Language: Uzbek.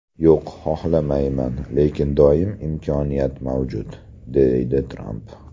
Yo‘q, xohlamayman, lekin doim imkoniyat mavjud”, deydi Tramp.